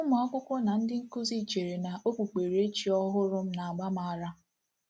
Ụmụ akwụkwọ na ndị nkuzi cheere na okpukperechi ọhụrụ m na-agba m ara.